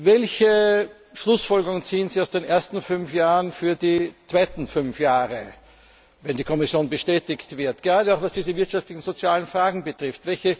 Welche Schlussfolgerungen ziehen Sie aus den ersten fünf Jahren für die zweiten fünf Jahre, sofern die Kommission bestätigt wird, gerade auch, was diese wirtschaftlichen und sozialen Fragen betrifft?